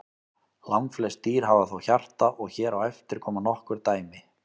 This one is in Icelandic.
Langflest dýr hafa þó hjarta og hér á eftir koma nokkur dæmi.